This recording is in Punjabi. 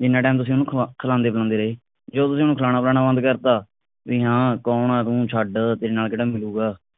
ਜਿੰਨਾ time ਤੁਸੀ ਉਹਨੂੰ ਖਵਾਦੇ ਪਿਆਂਦੇ ਰਹੇ ਜੇ ਤੁਸੀਂ ਹੁਣ ਖਵਾਣਾ ਪਿਆਣਾ ਬੰਦ ਕਰਤਾ ਬਈ ਹਾਂ ਕੌਣ ਆ ਤੂੰ ਛੱਡ ਤੇਰੇ ਨਾਲ ਕਿਹੜਾ ਮਿਲੂੰਗਾ